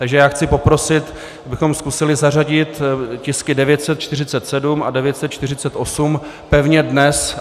Takže já chci poprosit, abychom zkusili zařadit tisky 947 a 948 pevně dnes.